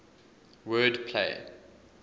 word play